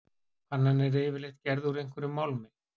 Pannan er yfirleitt gerð úr einhverjum málmi.